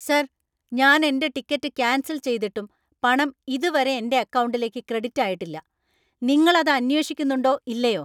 Sir! ഞാൻ എന്‍റെ ticket cancel‍ ചെയ്തിട്ടും പണം ഇതുവരെ എന്‍റെ അക്കൗണ്ടിലേക്ക് ക്രെഡിറ്റ് ആയിട്ടില്ല. നിങ്ങൾ അത് അന്വേഷിക്കുന്നുണ്ടോ ഇല്ലയോ?